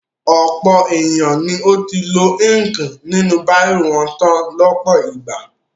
Ọ̀pọ̀ ènìyàn ni ó ti lo íńkì inú bírò wọn tán lọ́pọ̀ ìgbà.